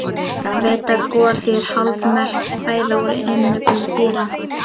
Ég veit að gor þýðir hálfmelt fæða úr innyflum dýra.